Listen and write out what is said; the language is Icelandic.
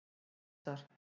Sesar